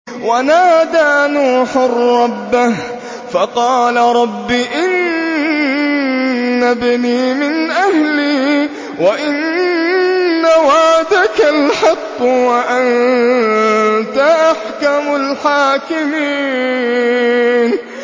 وَنَادَىٰ نُوحٌ رَّبَّهُ فَقَالَ رَبِّ إِنَّ ابْنِي مِنْ أَهْلِي وَإِنَّ وَعْدَكَ الْحَقُّ وَأَنتَ أَحْكَمُ الْحَاكِمِينَ